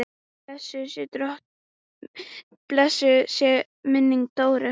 Blessuð sé minning Dóru.